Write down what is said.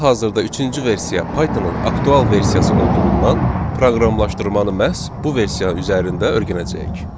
Hal-hazırda üçüncü versiya Pythonın aktual versiyası olduğundan proqramlaşmanı məhz bu versiya üzərində öyrənəcəyik.